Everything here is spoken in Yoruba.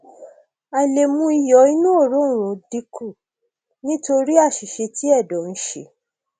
àìlè mú iyọ inú òróǹro dínkù nítorí àìṣiṣẹ tí ẹdọ ń ṣe